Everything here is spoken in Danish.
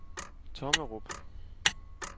Tommerup